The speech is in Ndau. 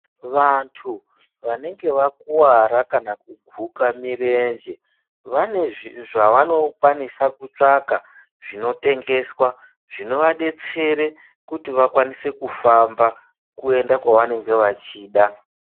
Vantu vanenge vakuvara kana kuguka mirenje. Vane zvavanokwanisa kutsvaka zvinotengeswa zvinovabetsere kuti vakwanise kufamba kuenda kwavanenge vachida.